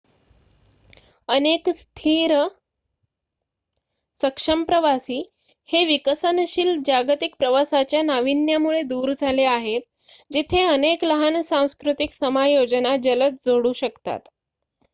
अनेक स्थिर सक्षम प्रवासी हे विकसनशील जागतिक प्रवासाच्या नावीन्यामुळे दूर झाले आहेत जिथे अनेक लहान सांस्कृतिक समायोजना जलद जोडू शकतात